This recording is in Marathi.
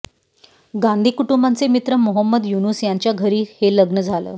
गांधी कुटुंबाचे मित्र मोहम्मद युनुस यांच्या घरी हे लग्न झालं